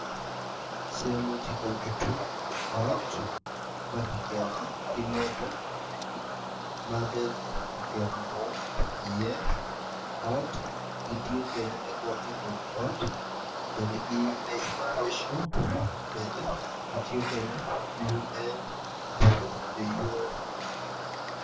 Calle tye ka nyuto ot piny kun puc man kala kome tye macol nicuc kun opero ite tye ka winyo jami. Puc man bene ki tiyo kwede me buto nyo yweyo.